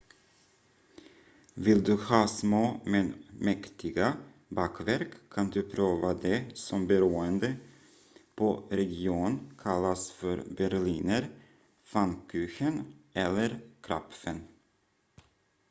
vill du ha små men mäktiga bakverk kan du prova det som beroende på region kallas för berliner pfannkuchen eller krapfen